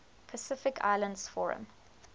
pacific islands forum